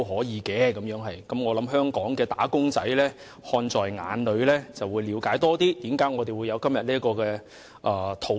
我相信香港的"打工仔"看在眼裏，更了解為何我們今天會有這項討論。